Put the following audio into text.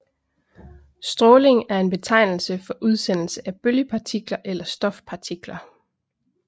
Stråling er en betegnelse for udsendelse af bølgepartikler eller stofpartikler